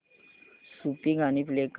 सूफी गाणी प्ले कर